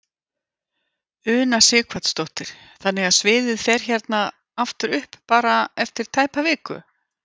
Una Sighvatsdóttir: Þannig að sviðið fer hérna aftur upp bara eftir tæpa viku?